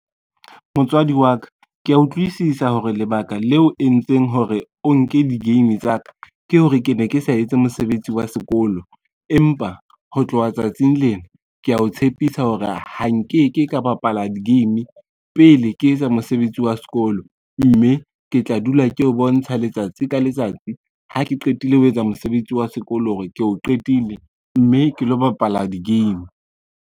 Motswadi wa ka kea utlwisisa hore lebaka leo o entseng hore o nke di-game tsa ka ke hore ke ne ke sa etse mosebetsi wa sekolo, empa ho tloha tsatsing lena, kea o tshepisa hore ha nke ke ka bapala di-game pele ke etsa mosebetsi wa sekolo, mme ke tla dula ke o bontsha letsatsi ka letsatsi ha ke qetile ho etsa mosebetsi wa sekolo hore ke o qetile, mme ke lo bapala di-game.